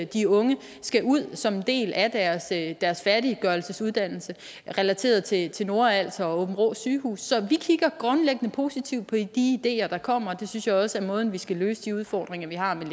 de unge skal ud som en del af af deres færdiggørelse af uddannelsen relateret til til nordals og aabenraa sygehuse så vi kigger grundlæggende positivt på de ideer der kommer det synes jeg også er måden vi skal løse de udfordringer vi har med